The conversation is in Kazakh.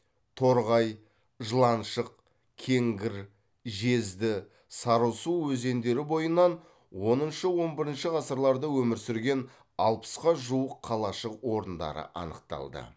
торғай жыланшық кеңгір жезді сарысу өзендері бойынан оныншы он бірінші ғасырларда өмір сүрген алпысқа жуық қалашық орындары анықталды